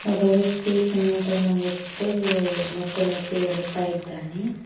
ಒಬ್ಬ ವ್ಯಕ್ತಿ ಸಿಮೆಂಟ್ ಅನ್ನು ಹೊತ್ತು ಮೆಟ್ಟಿಲ್ ಹತ್ತಿ ಬರುತ್ತಾ ಇದ್ದಾನೆ.